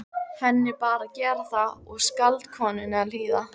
Henni bar að gera það og skáldkonunni að hlýða.